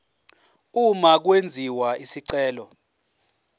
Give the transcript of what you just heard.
uma kwenziwa isicelo